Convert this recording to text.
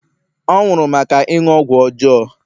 ọ nwụrụ maka ịṅụ ọgwụ ọjọọ